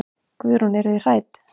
Guðrún: Eruð þið hrædd?